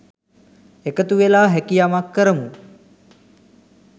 එකතු වෙලා හැකි යමක් කරමු